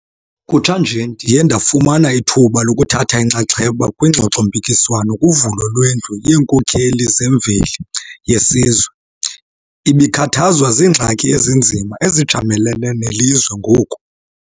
Kutsha nje, ndiye ndafumana ithuba lokuthatha inxaxheba kwingxoxo-mpikiswano kuvulo lweNdlu yeeNkokheli zeMveli yeSizwe, ebikhathazwa ziingxaki ezinzima ezijamelene nelizwe ngoku.